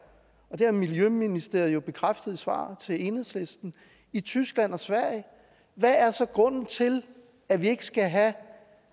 og det har miljøministeriet jo bekræftet i svaret til enhedslisten i tyskland og sverige hvad er så grunden til at vi ikke skal have